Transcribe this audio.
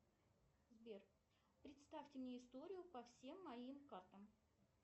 сбер представьте мне историю по всем моим картам